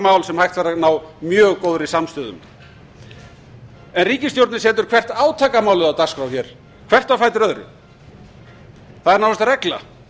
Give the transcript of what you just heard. mál sem hægt væri að ná mjög góðri samstöðu um en ríkisstjórnin setur hvert átakamálið á dagskrá hér hvert á fætur öðru það er nánast regla